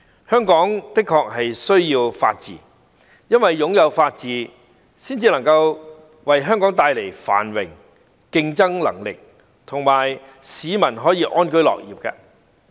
香港的確需要法治，因為擁有法治才能為香港帶來繁榮、競爭能力及讓市民安居樂業。